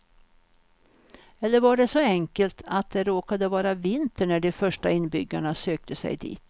Eller var det så enkelt att det råkade vara vinter när de första inbyggarna sökte sig dit.